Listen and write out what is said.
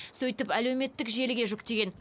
сөйтіп әлеуметтік желіге жүктеген